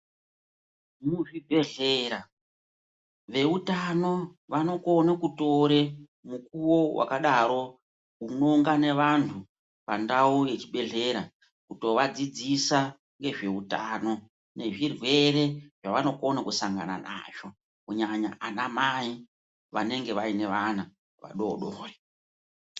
Muzvibhehlera veutano vanokone kutore mukuwo wakadaro unoungane vantu pandau yechibhehlera kutovadzidzisa ngezveutano, nezvirwere zvavanokona kusangana nazvo. Kunyanya anamai vanenge vane vana vadoodori.